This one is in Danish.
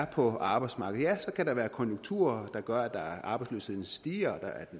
på arbejdsmarkedet så kan der være konjunkturer der gør at arbejdsløsheden stiger